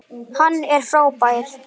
Hann er frábær.